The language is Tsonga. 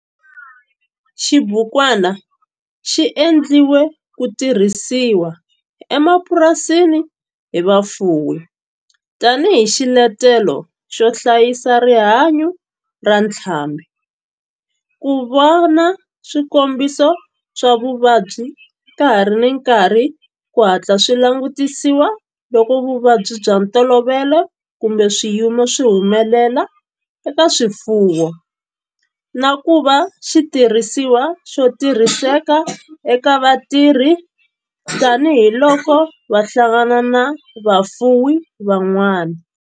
Xibukwana xi endliwe ku tirhisiwa emapurasini hi vafuwi tani hi xiletelo xo hlayisa rihanyo ra ntlhambhi, ku vona swikombiso swa vuvabyi ka ha ri na nkarhi ku hatla swi langutisiwa loko vuvabyi bya ntolovelo kumbe swiyimo swi humelela eka swifuwo, na ku va xitirhisiwa xo tirhiseka eka vatirhi tani hi loko va hlangana na vafuwi van'wana.